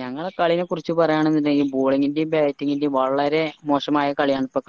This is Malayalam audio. ഞങ്ങളെ കളിനെ കുറിച്ച് പറയാണെന്നുണ്ടെകിൽ balling ന്റെയും bating ന്റെയും വളരേ മോശമായ കളിയാണ് ഇപ്പൊ